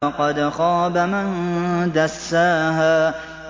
وَقَدْ خَابَ مَن دَسَّاهَا